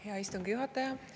Hea istungi juhataja!